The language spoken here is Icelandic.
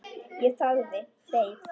Ég þagði, beið.